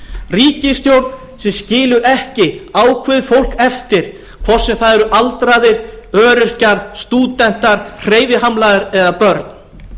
ríkisstjórn sem skilur ekki ákveðið fólk eftir hvort sem það eru aldraðir öryrkjar stúdentar hreyfihamlaðir eða börn